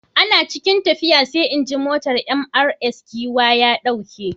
Ana cikin tafiya sai injin motar Mrs Giwa ya dauke.